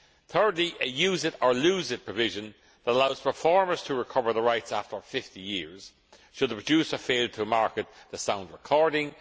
thirdly a use it or lose it' provision that allows performers to recover the rights after 50 years, should the producer fail to market the sound recording